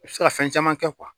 U bɛ se ka fɛn caman kɛ